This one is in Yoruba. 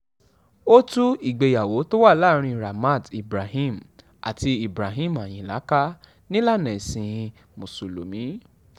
ó tú ìgbéyàwó tó wà láàrin ramat ibrahim àti ibrahim ayinla ká nílànà ẹ̀sìn mùsùlùmí